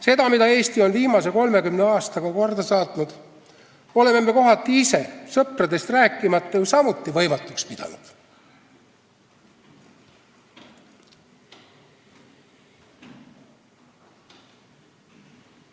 Seda, mida Eesti on viimase 30 aastaga korda saatnud, oleme me kohati ise, sõpradest rääkimata, ju samuti võimatuks pidanud.